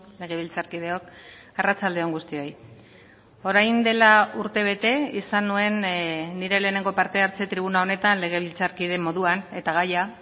legebiltzarkideok arratsalde on guztioi orain dela urtebete izan nuen nire lehenengo parte hartze tribuna honetan legebiltzarkide moduan eta gaia